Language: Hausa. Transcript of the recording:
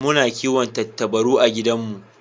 Muna kiwon Tattabaru a gidan mu